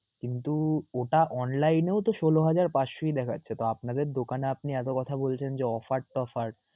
কিন্তু ওটা online এও তো ষোল হাজার পাঁচশই দেখাচ্ছে তো আপনাদের দোকানে আপনি এতো কথা বলছেন যে offer টফার